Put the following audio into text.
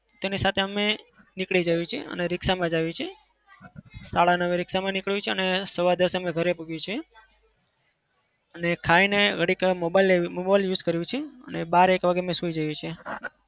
તેને સાથે અમે નીકળી જઈએ છીએ અને રીક્ષામાં જ આવીએ છીએ સાડા નવ એ રીક્ષામાં હોઈએ અને સવા દસ એ ઘરે પહોચીએ છીએ. અને ખાઈ ને ઘડીકવાર mobile લઇ mobile use કરીએ છીએ અને બાર એક વાગે અમે સુઈ જઈએ છીએ.